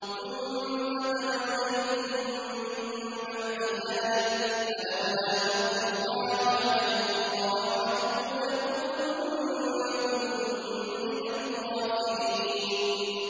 ثُمَّ تَوَلَّيْتُم مِّن بَعْدِ ذَٰلِكَ ۖ فَلَوْلَا فَضْلُ اللَّهِ عَلَيْكُمْ وَرَحْمَتُهُ لَكُنتُم مِّنَ الْخَاسِرِينَ